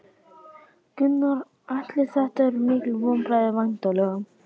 Gunnar Atli: Þetta eru mikil vonbrigði væntanlega?